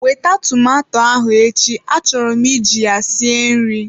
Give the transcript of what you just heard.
Wete tomato ahụ echi, achọrọ m iji ya sie nri!